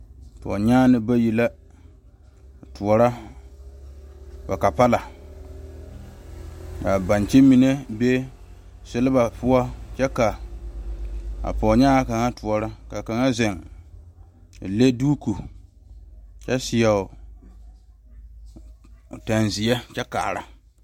Pɔgenyane bayi la a toɔrɔ ba kapala kaa bonkyi mine be seliba poɔ kyɛ ka pɔgenyaŋa kaŋa toɔrɔ ka kaŋa zeŋ a leŋ doɔko kyɛ seɛ o pene ziɛ kyɛ kaara.